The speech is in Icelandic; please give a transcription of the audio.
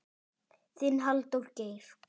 Þinn, Halldór Geir.